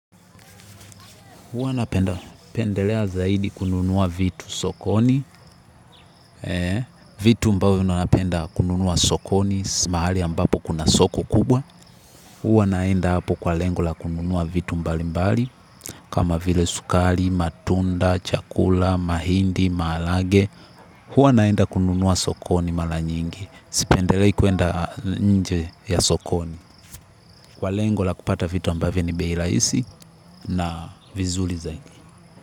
Huwa napenda pendelea zaidi kununua vitu sokoni. Vitu ambayo napenda kununua sokoni mahali ambapo kuna soko kubwa. Huwa naenda hapo kwa lengo la kununua vitu mbali mbali. Kama vile sukari, matunda, chakula, mahindi, maharagwe. Huwa naenda kununua sokoni mara nyingi. Sipendelei kuenda nje ya sokoni. Kwa lengo la kupata vitu ambavyo ni bei rahisi na vizuri zaidi.